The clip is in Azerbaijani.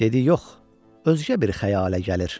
Dedi yox, özgə bir xəyalə gəlir.